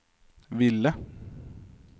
ville